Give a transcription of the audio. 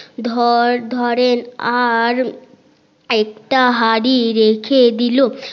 ধর ধরের আরেকটা হাড়ি রেখে দিলো